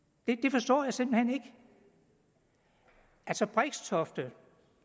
forstår jeg simpelt hen ikke altså brixtofte